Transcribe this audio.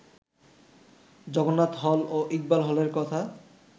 Jagannath hall ও ইকবাল হলের কথা